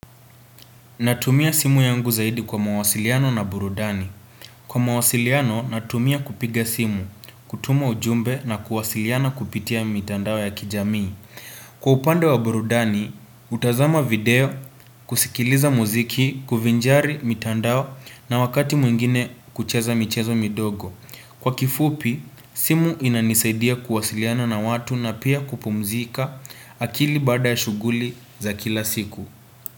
Natumia simu yangu zaidi kwa mawasiliano na burudani. Kwa mawasiliano, natumia kupiga simu, kutuma ujumbe na kuwasiliana kupitia mitandao ya kijamii. Kwa upande wa burudani, hutazama video, kusikiliza muziki, kuvinjari mitandao na wakati mwingine kucheza michezo midogo. Kwa kifupi, simu inanisaidia kuwasiliana na watu na pia kupumzika akili baada ya shughuli za kila siku.